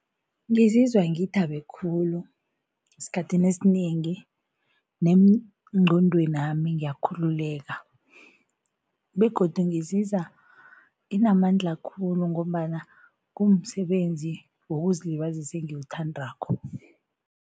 Ngizizwa ngithabe khulu esikhathini esinengi nengqondwenami ngiyakhululeka begodu ngizizwa nginamandla khulu ngombana kumsebenzi wokuzilibazisa engiwuthandako.